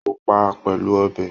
O pá a pẹlú ọ̀bẹ.